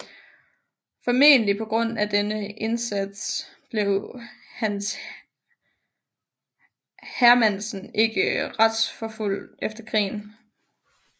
Formentlig på grund af denne indsats blev Hans Hermannsen ikke retsforfulgt efter krigen